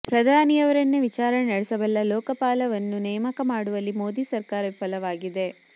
ಪ್ರಧಾನಿಯವರನ್ನೇ ವಿಚಾರಣೆ ನಡೆಸಬಲ್ಲ ಲೋಕಪಾಲವನ್ನು ನೇಮಕ ಮಾಡುವಲ್ಲಿ ಮೋದಿ ಸರ್ಕಾರ ವಿಫಲವಾಗಿದೆ